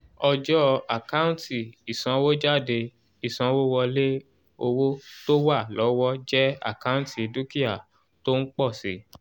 ọjọ́ àkántì ìsanwójáde ìsanwówọlé owó tó wà lọ́wọ́ jẹ́ àkántì dúkìá tó ń pọ̀ si